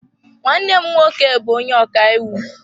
Nwanne m nwoke bu onye ọkaiwu.